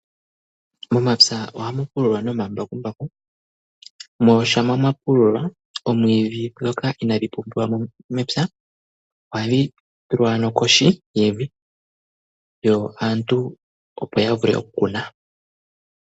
Momapya ohamu pululwa nomambakumbaku. Mo shampa mwa pululwa oomwiidhi ndhoka inaadhi pumbiwa mo mepya ohadhi tulwa ano kohi yevi yo aantu ya vule oku kuna.